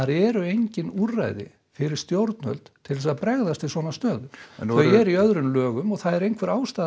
eru engin úrræði fyrir stjórnvöld til að bregðast við svona stöðu þau eru í öðrum lögum og það er ástæða